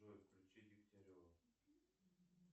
джой включи дегтярева